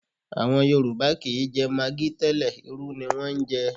À̀wọn Yorùbá kì í jẹ magi tẹ́lẹ̀, irú ni wọ́n ń jẹ